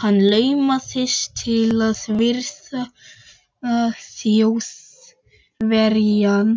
Hann laumaðist til að virða Þjóðverjann